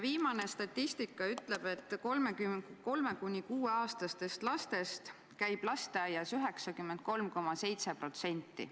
Viimane statistika ütleb, et 3–6-aastastest lastest käib lasteaias 93,7%.